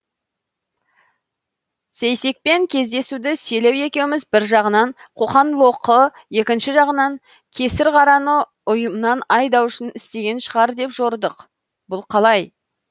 сейсекпен кездесуді селеу екеуміз бір жағынан қоқан лоқы екінші жағынан кесірқараны ұйымнан айдау үшін істеген шығар деп жорыдық бұл қалай